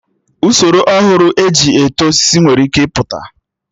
Usoro ọhụrụ eji eto osisi nwere ike ịpụta